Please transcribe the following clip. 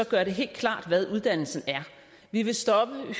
gøre det helt klart hvad uddannelsen er vi vil stoppe